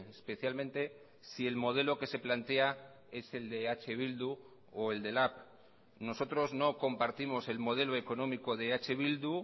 especialmente si el modelo que se plantea es el de eh bildu o el de lab nosotros no compartimos el modelo económico de eh bildu